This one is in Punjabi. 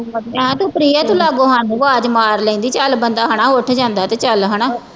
ਐਂ ਸੁਥਰੀ ਹੈ ਗੁਲਾਬੋ ਸਾਨੂੰ ਆਵਾਜ਼ ਮਾਰ ਲੈਂਦੀ ਚੱਲ ਬੰਦਾ ਹਨਾ ਉੱਠ ਜਾਂਦਾ ਤੇ ਚੱਲ ਹਨਾ